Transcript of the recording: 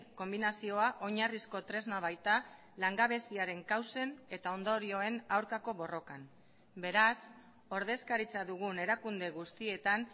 konbinazioa oinarrizko tresna baita langabeziaren kausen eta ondorioen aurkako borrokan beraz ordezkaritza dugun erakunde guztietan